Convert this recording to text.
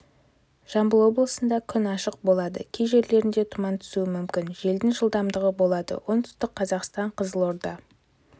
жамбыл облысында күн ашық болады кей жерлерінде тұман түсуі мүмкін желдің жылдамдығы болады оңтүстік қазақстан қызылорда